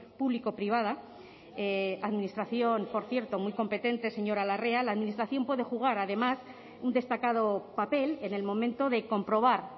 público privada administración por cierto muy competente señora larrea la administración puede jugar además un destacado papel en el momento de comprobar